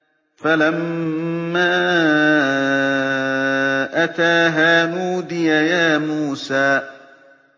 فَلَمَّا أَتَاهَا نُودِيَ يَا مُوسَىٰ